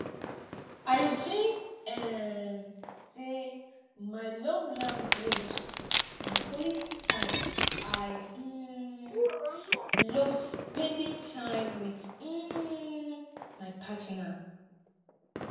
i dey think um say my love language na quality time i um love spending time with um my partner